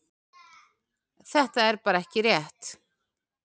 Þetta er bara ekki rétt.